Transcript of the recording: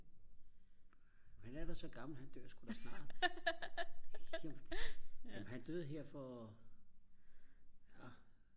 han er da så gammel han dør sgu da snart men han døde her for